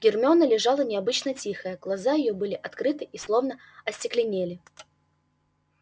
гермиона лежала необычно тихая глаза её были открыты и словно остекленели